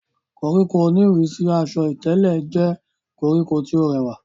koríko oníìrísí asọ ìtẹ̀lẹ̀ jẹ́ koríko tí ó rẹwà